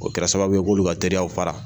O kɛra sababu ye k'olu ka terirw fara